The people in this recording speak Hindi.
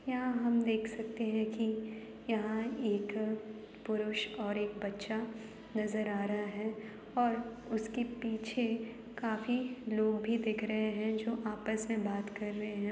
यहाँ हम देख सकते हैं की यहाँ एक अ पुरुष और एक बच्चा नजर आ रहा है और उसके पीछे काफी लोग भी दिख रहे हैं जो आपस में बात कर रहे है।